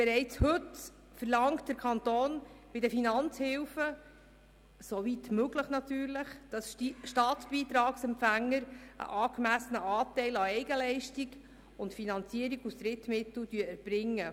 Bereits heute verlangt der Kanton bei den Finanzbeihilfen, soweit möglich, dass Staatsbeitragsempfänger einen angemessenen Anteil an Eigenleistung und Finanzierung aus Drittmitteln erbringen.